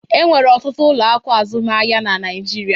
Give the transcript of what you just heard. E nwere ọtụtụ ụlọ akụ azụmaahịa na Naịjirịa